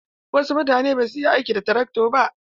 Wasu mutane basu iya amfani da trakto ba.